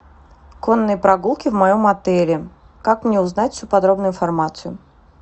конные прогулки в моем отеле как мне узнать всю подробную информацию